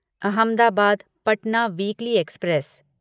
Ahmedabad Patna weekly express